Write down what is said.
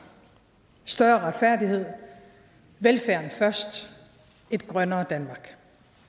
større retfærdighed velfærden først et grønnere danmark